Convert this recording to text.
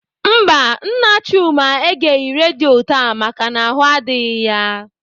Mba, Nna Chuma egeghị redio taa maka na ahụ adịghị ya.